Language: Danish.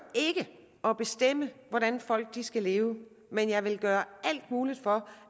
at bestemme hvordan folk skal leve men jeg vil gøre alt muligt for